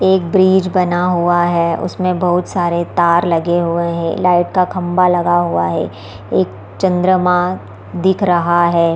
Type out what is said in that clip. एक ब्रिज बना हुआ है उसमें बहुत सारे तार लगे हुए हैं लाइट का खंभा लगा हुआ है एक चंद्रमा दिख रहा है।